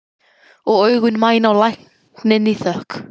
Og augun mæna á lækninn í þökk.